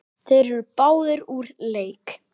Þeir eru báðir úr leik.